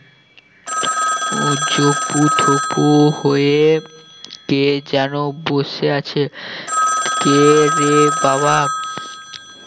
আহ জবুথবু হয়ে কে যেন বসে আছে কে রে বাবা